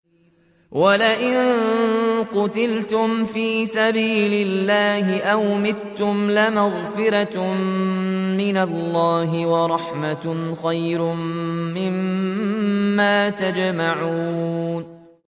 وَلَئِن قُتِلْتُمْ فِي سَبِيلِ اللَّهِ أَوْ مُتُّمْ لَمَغْفِرَةٌ مِّنَ اللَّهِ وَرَحْمَةٌ خَيْرٌ مِّمَّا يَجْمَعُونَ